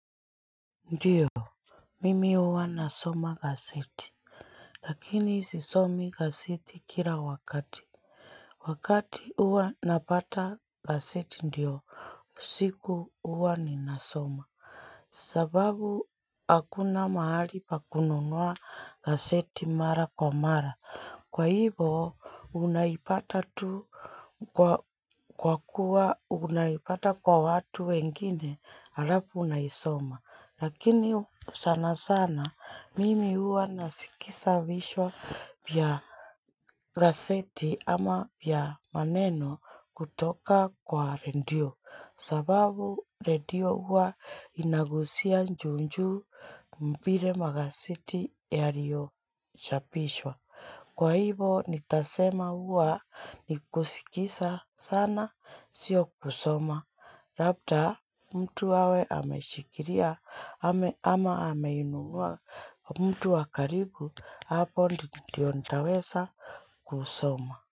Ndiyo, mimi huwa nasoma aseti. Lakini sisomi kaseti kila wakati. Wakati uwa napata kaseti ndiyo. Siku uwa ninasoma. Sababu akuna mahali pa kununua kaseti mara kwa mara. Kwa hivyo unaipata tu kwa kuwa unaipata kwa watu wengine harapu unaisoma. Lakini sana sana mimi uwa nasikisa vishwa vya gaseti ama vya maneno kutoka kwa rendio. Sababu redio huwa inagusia njunju mpire magaseti yario shapishwa. Kwa hivo nitasema uwa nikusikisa sana sio kusoma. Labda mtu hawe ameshikiria ama ameinuwa mtu wa karibu hapo ndio nitawesa kusoma.